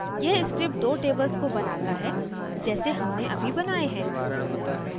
यह script दो tables को बनाता है जैसे हमने अभी बनाए हैं